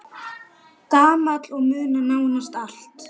Gamall og muna nánast allt.